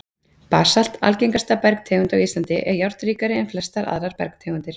Basalt, algengasta bergtegund á Íslandi, er járnríkari en flestar aðrar bergtegundir.